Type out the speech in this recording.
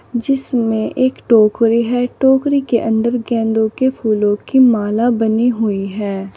जिसमें एक टोकरी है टोकरी के अंदर गेंदों के फूलों की माला बनी हुई है।